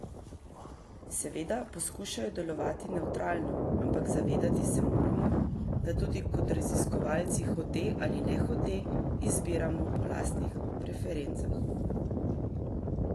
Seveda poskušajo delovati nevtralno, ampak zavedati se moramo, da tudi kot raziskovalci hote ali ne hote izbiramo po lastnih preferencah.